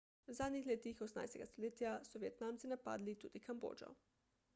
v zadnjih letih 18 stoletja so vietnamci napadli tudi kambodžo